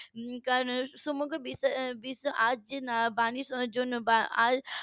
. সমগ্র বিশ্ব আজ যে বাণী শোনার জন্য